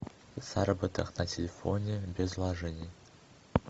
заработок на телефоне без вложений